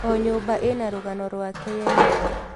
O nyũmba ĩna rũgano rwake yenyewe.